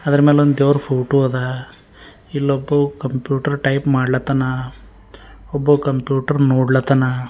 ಅದರ ಮ್ಯಾಲ ಒಂದ ದೇವರ ಫೋಟೋ ಅದ ಇಲ್ಲೊಬ್ಬ ಕಂಪ್ಯೂಟರ್ ಟೈಪ್ ಮಾಡ್ಲಾತಾನ ಒಬ್ಬ ಕಂಪ್ಯೂಟರ್ ನೋಡ್ಲಾತಾನ.